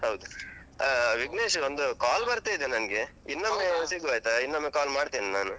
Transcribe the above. ಹೌದು ಆ ವಿಘ್ನೇಶ್ ಒಂದು call ಬರ್ತಾ ಇದೆ ನಂಗೆ. ಸಿಗುವ ಆಯ್ತಾ, ಇನ್ನೊಮ್ಮೆ call ಮಾಡ್ತೇನ್ ನಾನು.